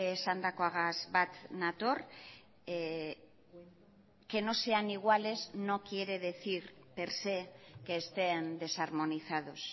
esandakoagaz bat nator que no sean iguales no quiere decir per se que estén desarmonizados